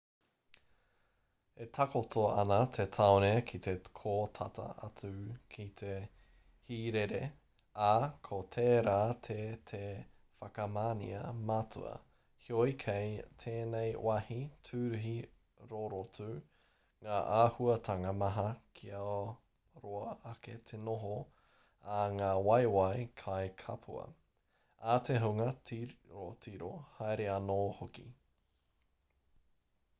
e takoto ana te tāone ki kō tata atu ki te hīrere ā ko tērā te te whakamanea matua heoi kei tēnei wāhi tūruhi rorotu ngā āhuatanga maha kia roa ake te noho a ngā waewae kai kapua a te hunga tirotiro haere anō hoki